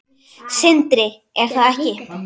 Sindri: Er það ekki?